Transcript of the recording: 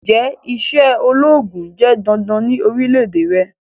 Njẹ iṣẹ ologun jẹ dandan ni orilẹ-ede rẹ?